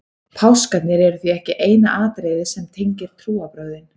páskarnir eru því ekki eina atriðið sem tengir trúarbrögðin